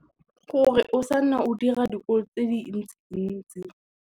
Gore o sa nna o dira dikoloto tse dintsi ntsi.